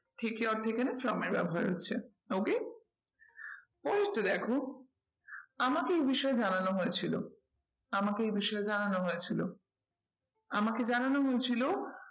থেকে from my ব্যবহার হচ্ছে okay first দেখো আমাকে এই বিষয়ে জানানো হয়েছিল, আমাকে এই বিষয়ে জানানো হয়েছিল। আমাকে জানানো হয়েছিল